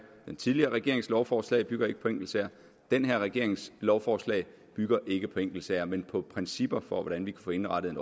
den tidligere regerings lovforslag bygger ikke på enkeltsager den her regerings lovforslag bygger ikke på enkeltsager men på principper for hvordan vi kan få indrettet en